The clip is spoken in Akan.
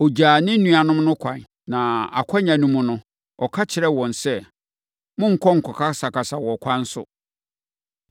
Ɔgyaa ne nuanom no kwan, na akwannya no mu no, ɔka kyerɛɛ wɔn sɛ, “Monnkɔkasakasa wɔ ɛkwan so.”